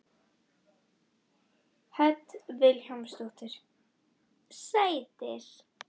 Hödd Vilhjálmsdóttir: Sætir?